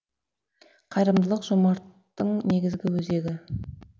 қайырымдылық жомарттың негізгі өзегі